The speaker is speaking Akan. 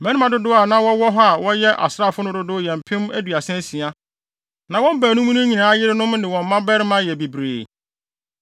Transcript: Mmarima dodow a na wɔwɔ hɔ a wɔyɛ asraafo no dodow yɛ mpem aduasa asia. Na wɔn baanum no nyinaa yerenom ne wɔn mmabarima yɛ bebree.